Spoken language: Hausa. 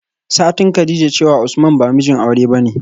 satin kadijah cewa usman ba mijin aure bane